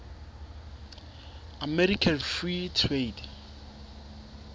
american free trade